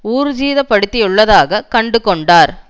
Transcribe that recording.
ஊர்ஜிதப்படுத்தியுள்ளதாக கண்டு கொண்டார்